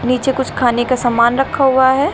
नीचे कुछ खाने का सामान रखा हुआ है।